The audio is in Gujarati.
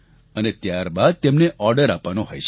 અને ત્યારબાદ તેમને ઓર્ડર આપવાનો હોય છે